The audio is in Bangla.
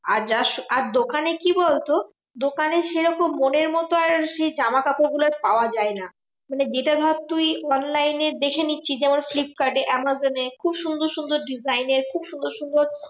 আর যা আর দোকানে কি বলতো? দোকানে সেরকম মনের মতো আর সেই জামাকাপড় গুলো আর পাওয়া যায় না। মানে যেটা ভাব তুই online এ দেখে নিচ্ছি যেমন ফ্লিপকার্ডে আমাজোনে খুব সুন্দর সুন্দর design এর খুব সুন্দর সুন্দর